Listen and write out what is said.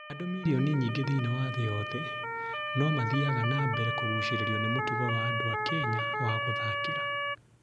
Andũ milioni nyingĩ thĩinĩ wa thĩ yothe no mathiaga na mbere kũgucĩrĩrio nĩ mũtugo wa andũ a Kenya wa gũthakĩra.